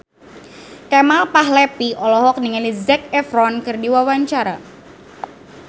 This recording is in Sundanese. Kemal Palevi olohok ningali Zac Efron keur diwawancara